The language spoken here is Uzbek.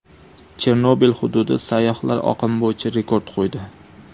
Chernobil hududi sayyohlar oqimi bo‘yicha rekord qo‘ydi.